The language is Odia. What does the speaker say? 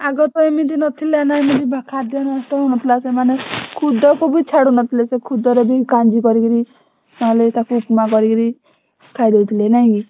ଆଗତ ଏମିତି ନଥିଲା ନା ଏମିତି ଖଦ୍ୟ ନଷ୍ଟ ହଉ ନଥିଲା ସେମାନେ ଖୁଦକୁ ବି ଛାଡୁ ନଥିଲେ ସେ ଖୁଦରେ ବି କାଞ୍ଜି କରିକିରି ନହେଲେ ତାକୁ ଉପମା କରିକିରି ଖାଇଦଉଥିଲେ ନାଇକି?